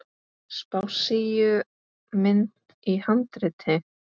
Spássíumynd í handriti.